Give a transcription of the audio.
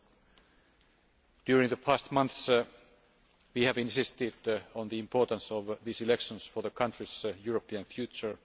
Over the past months we have insisted on the importance of these elections for the country's European future.